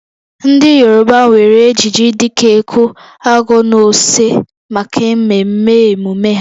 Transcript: Ndị Yoruba nwere ejiji dị ka eku/ago na ose maka mmemme emume ha